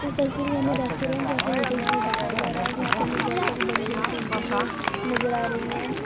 इस तस्वीर में हमे रेस्टोरेंट या फिर होटल जैसा दिखाई जा रहा है जहां पे हमे बहोत सारी बड़ी-बड़ी पेंटिंगे नज़र आ रही हैं।